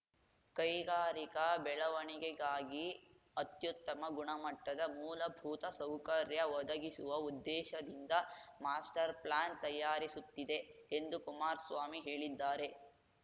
ಕೈಗಾರಿಕಾ ಬೆಳವಣಿಗೆಗಾಗಿ ಅತ್ಯುತ್ತಮ ಗುಣಮಟ್ಟದ ಮೂಲಭೂತ ಸೌಕರ್ಯ ಒದಗಿಸುವ ಉದ್ದೇಶದಿಂದ ಮಾಸ್ಟರ್ ಪ್ಲಾನ್ ತಯಾರಿಸುತ್ತಿದೆ ಎಂದು ಕುಮಾರಸ್ವಾಮಿ ಹೇಳಿದ್ದಾರೆ